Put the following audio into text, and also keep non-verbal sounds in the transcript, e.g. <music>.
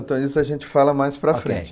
<unintelligible> isso a gente fala mais para a frente.